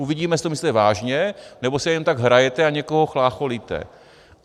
Uvidíme, jestli to myslíte vážně, nebo si jen tak hrajete a někoho chlácholíte.